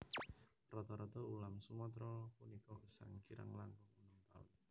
Rata rata ulam Sumatra punika gesang kirang langkung enem taun